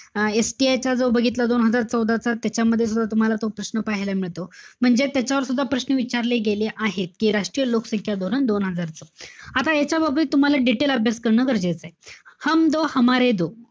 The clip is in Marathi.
अं STI चा जो बघितला, दोन हजार चौदाचा, त्याच्यामध्ये सुद्धा तूम्हाला तो प्रश्न पाहायला मिळतो. म्हणजे त्याच सुद्धा प्रश्न विचारले गेले आहे. कि राष्ट्रीय लोकसंख्या धोरण दोन हजारचं. आता याच्या बाबत तुम्हाला detail अभ्यास करणं गरजेचंय.